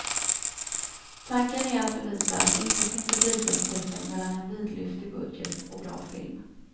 Tanken är att bevisa att det inte finns ett likhetstecken mellan en vidlyftig budget och bra film.